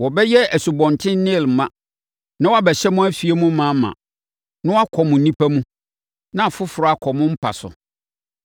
Wɔbɛyɛ Asubɔnten Nil ma, na wɔabɛhyɛ mo afie ma ma, na wɔakɔ mo mpia mu, na afoforɔ akɔ mo mpa so.